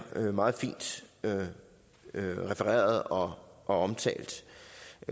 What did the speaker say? meget fint refereret og omtalt